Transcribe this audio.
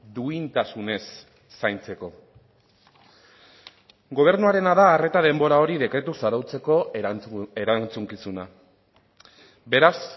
duintasunez zaintzeko gobernuarena da arreta denbora hori dekretuz arautzeko erantzukizuna beraz